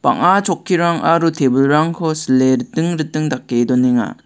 chokkirang aro tebilrangko sile riting riting dake donenga.